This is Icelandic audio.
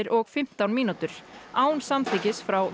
og fimmtán mínútur án samþykkis frá